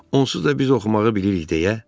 Onsuz da biz oxumağı bilirik